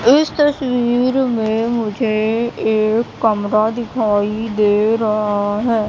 इस तस्वीर में मुझे एक कमरा दिखाई दे रहा है।